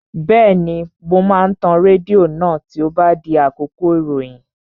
Bẹ́ẹ̀ni, mo máa tan rédíò náà tí ó bá di àkókò ìròyìn